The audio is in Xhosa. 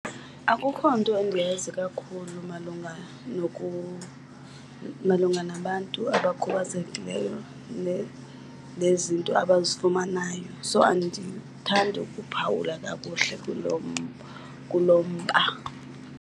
Akukho nto endiyazi kakhulu malunga , malunga nabantu abakhubazekileyo nezinto abazifumanayo. So andithandi ukuphawula kakuhle kulo , kulo mba.